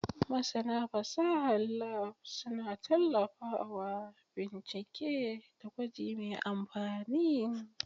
Masana fasahar Lab suna tallafawa bincike da gwaji mai amfani.